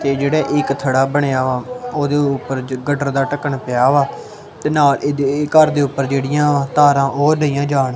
ਤੇ ਜਿਹੜਾ ਇਕ ਥੜਾ ਬਣਿਆ ਉਹਦੇ ਉੱਪਰ ਜੋ ਗਟਰ ਦਾ ਢੱਕਣ ਪਿਆ ਵਾ ਤੇ ਨਾਲ ਇਹਦੇ ਘਰ ਦੇ ਉੱਪਰ ਜਿਹੜੀਆਂ ਤਾਰਾਂ ਉਹ ਲਈਆਂ ਜਾਣ।